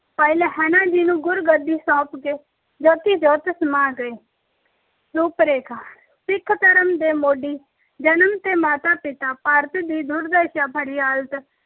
ਭਾਈ ਲਹਿਣਾ ਜੀ ਨੂੰ ਗੁਰ ਗੱਦੀ ਸੌਂਪ ਕੇ ਜੋਤੀ-ਜੋਤ ਸਮਾ ਗਏ। ਰੂਪ ਰੇਖਾ- ਸਿੱਖ ਧਰਮ ਦੇ ਮੋਢੀ ਜਨਮ ਅਤੇ ਮਾਤਾ ਪਿਤਾ ਭਾਰਤ ਦੀ ਦੁਰਦਸ਼ਾ